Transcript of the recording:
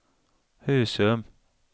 Husum